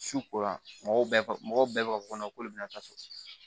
Su ko la mɔgɔw bɛɛ mɔgɔ bɛɛ b'a fɔ ko k'olu bɛna taa so